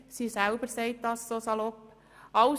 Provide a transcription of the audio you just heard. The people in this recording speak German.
Sie selber drückt dies so salopp aus.